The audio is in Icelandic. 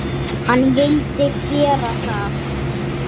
Hann vildi gera það.